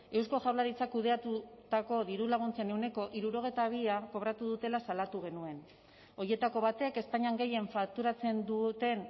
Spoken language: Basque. eusko jaurlaritzak kudeatutako dirulaguntzen ehuneko hirurogeita bia kobratu dutela salatu genuen horietako batek espainian gehien fakturatzen duten